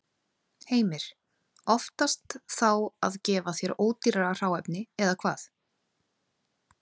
Heimir: Oftast þá að gefa þér ódýrara hráefni, eða hvað?